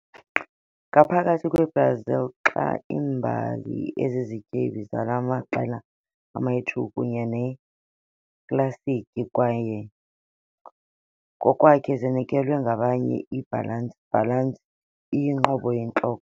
Ngaphakathi kweBrazil, xa iimbali ezizityebi zala maqela ama-2 kunye neklasiki ngokwakhe zinikezelwa ngabanye, i-balance balance iyinqobo yintloko.